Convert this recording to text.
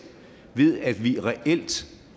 ved at vi reelt